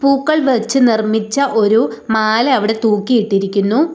പൂക്കൾ വെച്ച് നിർമ്മിച്ച ഒരു മാല അവിടെ തൂക്കിയിട്ടിരിക്കുന്നു.